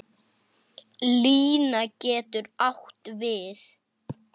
Lína getur átt við